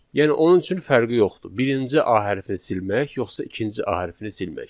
Yəni onun üçün fərqi yoxdur birinci a hərfini silmək yoxsa ikinci a hərfini silmək.